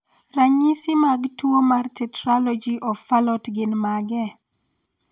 Ranyisi mag tuwo mar Tetralogy of Fallot gin mage?